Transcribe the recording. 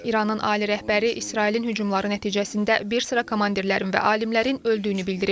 İranın ali rəhbəri İsrailin hücumları nəticəsində bir sıra komandirlərin və alimlərin öldüyünü bildirib.